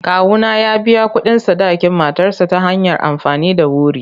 Kawuna ya biya kuɗin sadakin matarsa ​​ta hanyar amfani da wuri.